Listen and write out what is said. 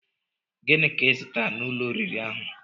Gịnị ka I zụtara n'ụlọ oriri ahụ?